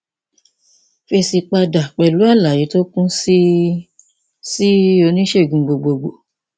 fèsì padà pẹlú àlàyé tó kún sí sí oníṣègùn gbogbogbò